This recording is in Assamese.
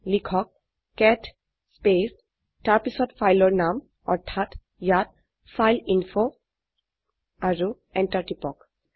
লিখক কেট স্পেচ তাৰপিছত ফাইলৰ নাম অৰ্থাৎ ইয়াত ফাইলএইনফো আৰু এন্টাৰ টিপক